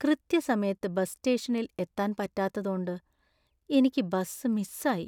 കൃത്യസമയത്ത് ബസ് സ്റ്റേഷനിൽ എത്താൻ പറ്റാത്തതോണ്ട് എനിക്ക് ബസ് മിസ് ആയി .